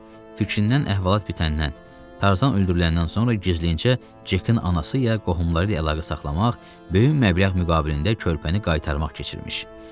Fikrinnən əhvalat bitəndən, Tarzan öldürüləndən sonra gizlincə Cekin anası ya qohumları ilə əlaqə saxlamaq, böyük məbləğ müqabilində körpəni qaytarmaq keçirmiş.